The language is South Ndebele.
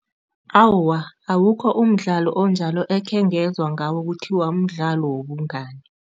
Awa, awukho umdlalo onjalo ekhengezwa ngawo kuthiwa mdlalo wobungani.